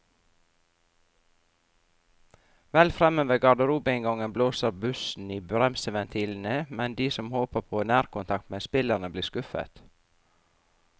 Vel fremme ved garderobeinngangen blåser bussen i bremseventilene, men de som håper på nærkontakt med spillerne, blir skuffet.